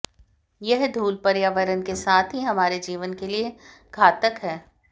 यह धूल पर्यावरण के साथ ही हमारे जीवन के लिए घातक है